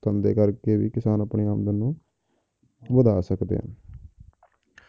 ਧੰਦੇ ਕਰਕੇ ਵੀ ਕਿਸਾਨ ਆਪਣੀ ਆਮਦਨ ਨੂੰ ਵਧਾ ਸਕਦੇ ਹਨ